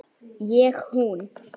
Ég hún.